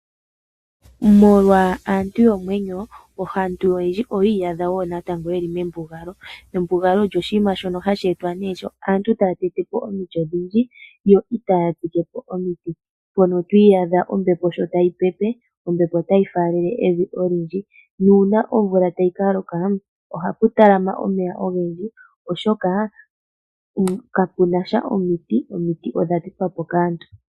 Molwa aantu yomwenyo, aantu oyendji oyii yadha yeli membungalo. Embungalo olyo oshinima shoka hashe etwa kaantu, ngele taya tete po omiti odhindji yo itaya tsike po omikwawo, mpono twi iyaadha ombepo sho tayi pepe, ombepo otayi falele evi olindji nuuna omvula shi tayi kaloka ohapu talama omeya ogendji oshoka kapuna sha omiti, odha tetwa po kaantu.